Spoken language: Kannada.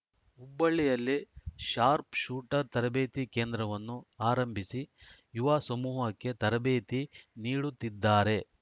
ಹುಬ್ಬಳ್ಳಿಯಲ್ಲಿ ಶಾರ್ಪ್ ಶೂಟರ್‌ ತರಬೇತಿ ಕೇಂದ್ರವನ್ನು ಆರಂಭಿಸಿ ಯುವ ಸಮೂಹಕ್ಕೆ ತರಬೇತಿ ನೀಡುತ್ತಿದ್ದಾರೆ